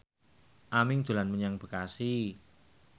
Aming dolan menyang Bekasi